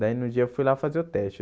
Daí, no dia, eu fui lá fazer o teste.